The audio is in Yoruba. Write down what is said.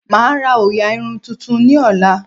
Mà á ra òòyà irun tuntun ní ọ̀la